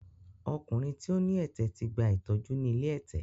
Ọkùnrin tí ó ní ẹ̀tẹ̀ ti gba ìtọ́jú ni ilé ẹ̀tẹ̀.